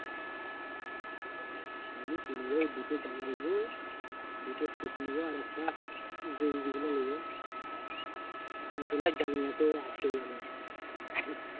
আমি কিনব দুটো জামা নেব দুটো suite নেব আর একটা গেঞ্জিগুলো নেব আর জাঙ্গিয়া তো আছেই আমার